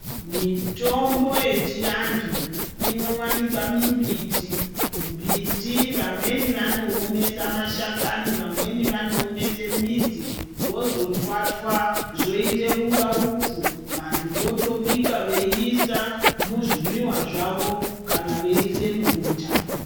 Mitombo yechianthu inowanikwa mimbiti, mumbiti vamweni vanoomesa mashakani vamweni vanoomesa midzi vozotwatwa zvoita kunga upfu votobika veiisa muzvimwiwa zvavo kana veiisa mubota.